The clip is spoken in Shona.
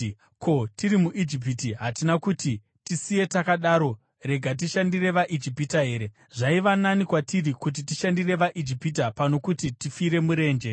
Ko, tiri muIjipiti hatina kuti, ‘Tisiye takadaro; rega tishandire vaIjipita here’? Zvaiva nani kwatiri kuti tishandire vaIjipita pano kuti tifire murenje!”